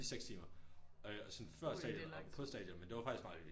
I 6 timer øh og sådan før stadion og på stadion men det var faktisk meget hyggeligt